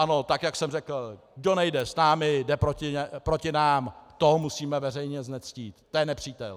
Ano, tak jak jsem řekl, kdo nejde s námi, jde proti nám, toho musíme veřejně znectít, to je nepřítel.